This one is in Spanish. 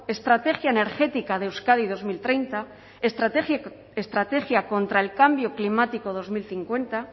estrategia energética de euskadi dos mil treinta estrategia contra el cambio climático dos mil cincuenta